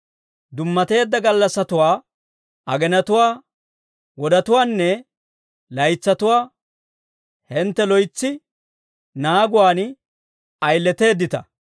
Dummateedda gallassattuwaa, agenatuwaa, wodetuwaanne laytsatuwaa hintte loytsi naaguwaan ayileteeddita.